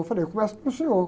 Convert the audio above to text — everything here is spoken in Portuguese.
Eu falei, eu começo pelo senhor.